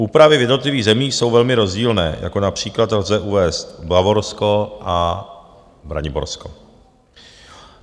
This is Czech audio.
Úpravy v jednotlivých zemích jsou velmi rozdílné, jako například lze uvést Bavorsko a Braniborsko.